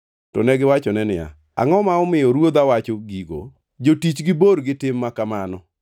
To negiwachone niya, “Angʼo ma omiyo ruodha wacho gigo? Jotichgi bor gi tim ma kamano!